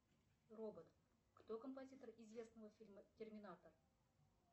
робот кто композитор известного фильма терминатор